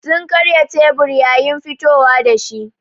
Sun karya tebur yayin fitowa da shi.